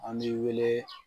An n'i wele